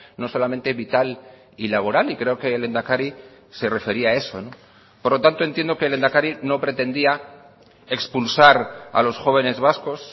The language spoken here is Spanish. no solamente vital y laboral y creo que el lehendakari se refería a eso por lo tanto entiendo que el lehendakari no pretendía expulsar a los jóvenes vascos